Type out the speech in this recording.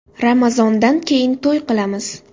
Ramazondan keyin to‘y qilamiz”.